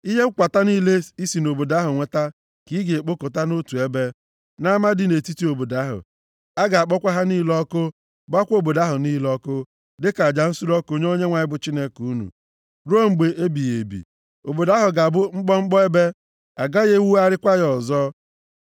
Ihe nkwata niile i si nʼobodo ahụ kwata ka ị ga-ekpokọta nʼotu ebe, nʼama dị nʼetiti obodo ahụ. A ga-akpọkwa ha niile ọkụ, gbaakwa obodo ahụ niile ọkụ, dịka aja nsure ọkụ nye Onyenwe anyị bụ Chineke unu. Ruo mgbe ebighị ebi, obodo ahụ ga-abụ mkpọmkpọ ebe, a gaghị ewugharịkwa ya ọzọ.